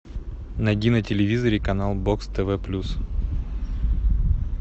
найди на телевизоре канал бокс тв плюс